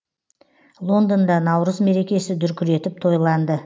лондонда наурыз мерекесі дүркіретіп тойланды